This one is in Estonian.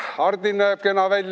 Hardi näeb kena välja ...